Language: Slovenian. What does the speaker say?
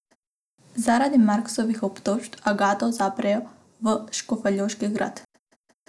Zaradi Marksovih obtožb Agato zaprejo v škofjeloški grad.